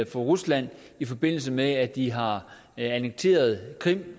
for rusland i forbindelse med at de har annekteret krim